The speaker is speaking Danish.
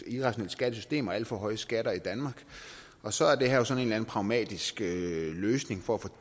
irrationelt skattesystem og alt for høje skatter i danmark og så er det her jo sådan en pragmatisk løsning for